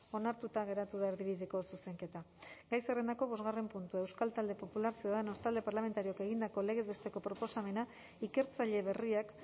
onartuta geratu da erdibideko zuzenketa gai zerrendako bosgarren puntua euskal talde popularra ciudadanos talde parlamentarioak egindako legez besteko proposamena ikertzaile berriak